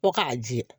Ko k'a jɛ